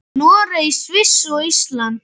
Noreg, Sviss og Ísland.